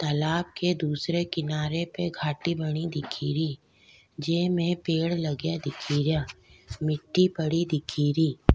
तालाब के दूसरे किनारे पे घाटी बनी दिखेरी जेमे पेड़ लगया दिखेरी मिटटी पड़ी दिखेरी।